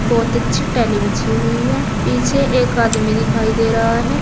बहोत अच्छी टाइले बिछी हुई हैं पीछे एक आदमी दिखाई दे रहा है।